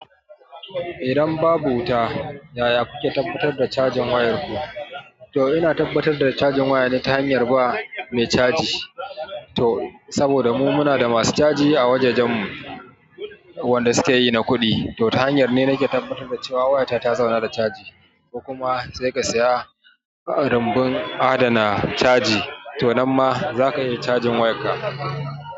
Idan babu wuta, yaya kuke tabbatar da cajin wayarku? To ina tabbatar da cajin waya ne ta hanyar zuwa wajen mai caji. Saboda mu muna da masu caji a wurin wajajenmu wanda suke yin kuɗi. To ta hanyar ne nake tabbatar da cewa wayata ta zauna da caji, kuma sai ka saya rumbun adana caji to nan ma za ka iya cajin wayarka.